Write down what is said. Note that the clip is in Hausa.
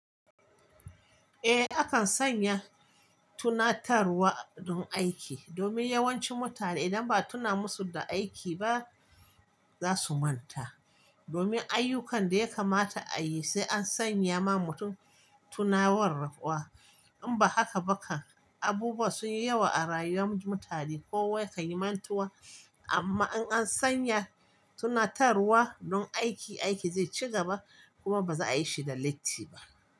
Eh, akan sanya tunatarwa don aiki, domin yawancin mutane idan ba'a tuna musu da aiki ba za su manta. Domin ayyukan da ya kamata a yi sai an sanya ma mutum tunawarwa. In ba haka ba kan abubuwa sun yi yawa a rayuwar mutane. Kowa yakan yi mantuwa a. Amma in an sanya tunatarwa don aiki, aiki zai ci gaba kuma ba za a yi shi da latti ba.